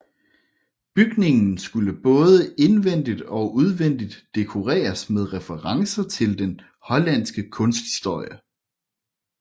Bygningen skulle både indvendigt og udvendigt dekoreres med referencer til den hollandske kunsthistorie